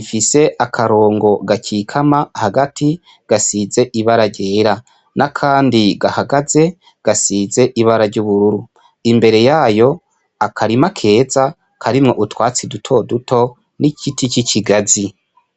ifise akarongo gakikama hagati gasize ibara ryera, n'akandi gahagaze gasize ibara ry'ubururu, imbere yayo akarima keza karimwo utwatsi duto duto n'igiti c'ikigazi.